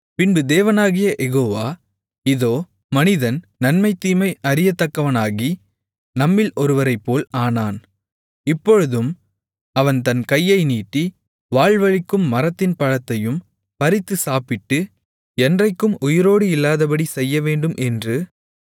பின்பு தேவனாகிய யெகோவா இதோ மனிதன் நன்மை தீமை அறியத்தக்கவனாகி நம்மில் ஒருவரைப்போல் ஆனான் இப்பொழுதும் அவன் தன் கையை நீட்டி வாழ்வளிக்கும் மரத்தின் பழத்தையும் பறித்து சாப்பிட்டு என்றைக்கும் உயிரோடு இல்லாதபடிச் செய்யவேண்டும் என்று